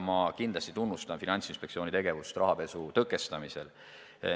Ma kindlasti tunnustan Finantsinspektsiooni tegevust rahapesu tõkestamisel.